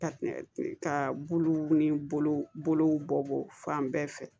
Ka buluw ni bolow buluw bɔ fan bɛɛ fɛ